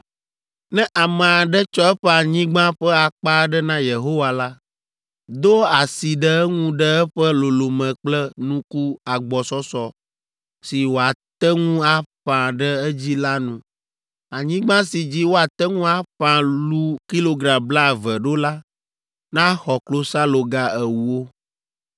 “ ‘Ne ame aɖe tsɔ eƒe anyigba ƒe akpa aɖe na Yehowa la, do asi ɖe eŋu ɖe eƒe lolome kple nuku agbɔsɔsɔ si woate ŋu aƒã ɖe edzi la nu. Anyigba si dzi woate ŋu aƒã lu kilogram blaeve ɖo la naxɔ klosaloga ewo.